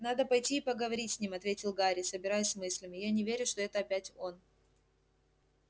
надо пойти и поговорить с ним ответил гарри собираясь с мыслями я не верю что это опять он